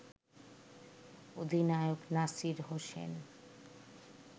অধিনায়ক নাসির হোসেন